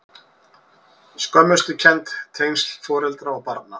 Skömmustukennd- tengsl foreldra og barna